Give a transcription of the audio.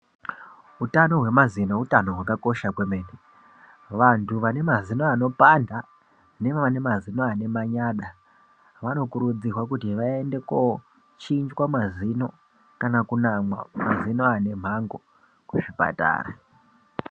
Utano hwemazino utano hwakakosha kwemene vantu vane mazino anopanda nevaneazino ane manyada vanokurudzirwa kuti vaende kochinjwa mazino kana kunamwa mazino ane mhanho kuzvipatara.